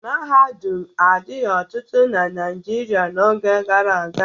Mahadum adighị ọtụtụ na Naịjirịa n'oge gara aga.